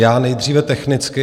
Já nejdříve technicky.